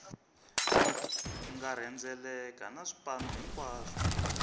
nga rhendzeleka na swipanu hinkwaswo